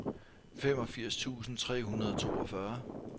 femogfirs tusind tre hundrede og toogfyrre